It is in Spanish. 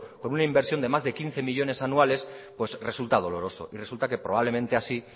con una inversión de más de quince millónes anuales pues resulta doloroso y resulta que probablemente así